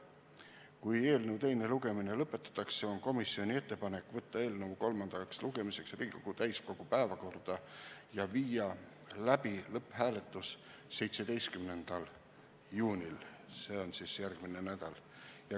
Kui eelnõu teine lugemine lõpetatakse, on komisjoni ettepanek võtta eelnõu kolmandaks lugemiseks Riigikogu täiskogu päevakorda ja viia läbi lõpphääletus 17. juunil, see on järgmisel nädalal.